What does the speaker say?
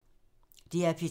DR P3